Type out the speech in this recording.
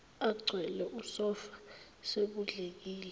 egcwele usofa sekudlekile